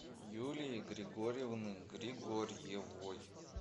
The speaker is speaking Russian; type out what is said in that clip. юлии григорьевны григорьевой